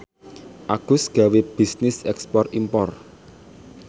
Agus gawe bisnis ekspor impor